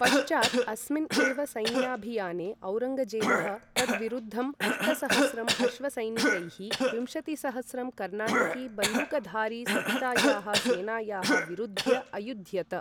पश्चात् अस्मिन् एव सैन्याभियाने औरङ्गजेबः, तद्विरुद्धं, अष्टसहस्रं अश्वसैनिकैः विंशतिसहस्रं कर्णाटकी बन्दूकधारीसहितायाः सेनायाः विरुद्ध्य अयुद्ध्यत।